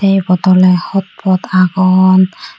te ibot ole hot pot agon.